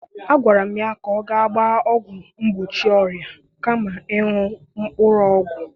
Agwara m ya ka ọ gaa gbaa ọgwụ mgbochi ọrịa kama ịṅụ mkpụrụ ọgwụ.